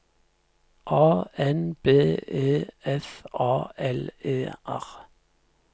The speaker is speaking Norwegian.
A N B E F A L E R